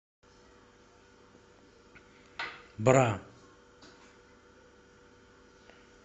бра